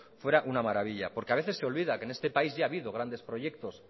fuera una maravilla porque a veces se olvida que en este país ya ha habido grandes proyectos